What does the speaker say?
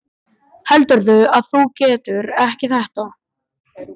Heldurðu að þú getir þetta ekki?